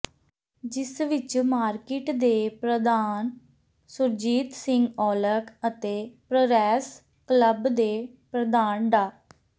ਜਿਸ ਵਿੱਚ ਮਾਰਕੀਟ ਦੇ ਪ੍ਰਧਾਨ ਸੁਰਜੀਤ ਸਿੰਘ ਔਲਖ ਅਤੇ ਪ੍ਰਰੈਸ ਕਲੱਬ ਦੇ ਪ੍ਰਧਾਨ ਡਾ